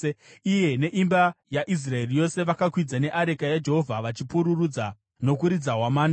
iye neimba yaIsraeri yose vakakwidza neareka yaJehovha vachipururudza nokuridza hwamanda.